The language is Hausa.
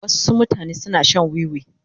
Wasu mutane suna shan wiwi.